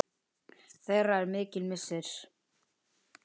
Þeirra er mikill missir.